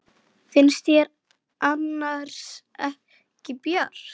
Finnst þér annars ekki bjart?